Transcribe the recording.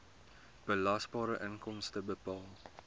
belasbare inkomste bepaal